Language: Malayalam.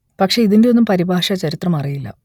പക്ഷെ ഇതിന്റെ ഒന്നും പരിഭാഷ ചരിത്രം അറിയില്ല